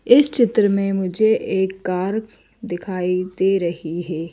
इस चित्र में मुझे एक कार दिखाई दे रही है।